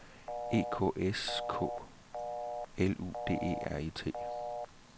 E K S K L U D E R E T